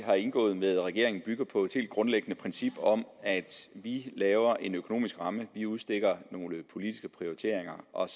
har indgået med regeringen bygger på et helt grundlæggende princip om at vi laver en økonomisk ramme vi udstikker nogle politiske prioriteringer og